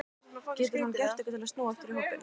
Getur hann gert eitthvað til að snúa aftur í hópinn?